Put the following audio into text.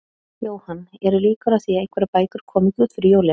Jóhann, eru líkur á því að einhverjar bækur komi ekki út fyrir jólin?